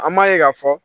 An m'a ye k'a fɔ